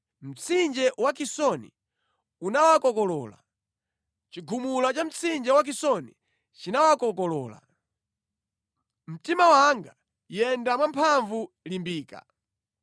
Mtsinje wa Kisoni unawakokolola, chigumula cha mtsinje wa Kisoni chinawakokolola. Mtima wanga, yenda mwamphamvu, limbika!